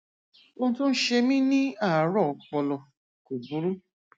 ohun tó ń ṣe mi ní àárọ ọpọlọ kò burú